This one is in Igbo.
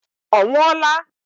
Ọ nwụọla?